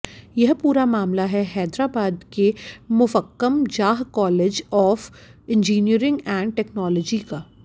यह पूरा मामला है हैदराबाद के Muffakham Jah college of engineering and technology का